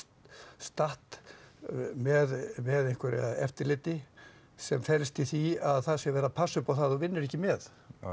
statt með með einhverju eftirliti sem felst í því að það sé verið að passa upp á það að þú vinnir ekki með